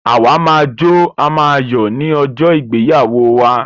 À wa máa jó, à máa yò ni ojó ìgbéyàwó wa